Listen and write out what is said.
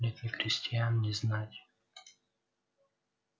нет ни крестьян ни знати